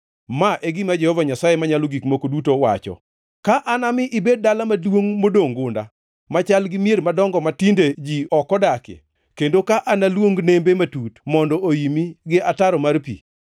“Ma e gima Jehova Nyasaye Manyalo Gik Moko Duto wacho: Ka anami ibed dala maduongʼ modongʼ gunda, machal gi mier madongo matinde ji ok odakie, kendo ka analuong nembe matut mondo oimi gi ataro mar pi,